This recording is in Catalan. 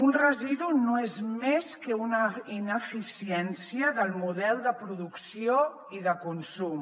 un residu no és més que una ineficiència del model de producció i de consum